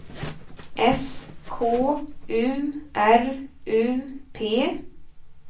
S K U R U P